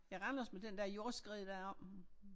I Randers med den der jordskred deroppe